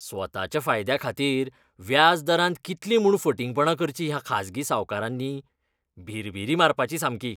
स्वताच्या फायद्याखातीर व्याज दरांत कितलीं म्हूण फटींगपणां करचीं ह्या खाजगी सावकारांनी! भिरभिरी मारपाची सामकी.